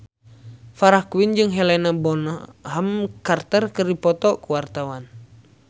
Farah Quinn jeung Helena Bonham Carter keur dipoto ku wartawan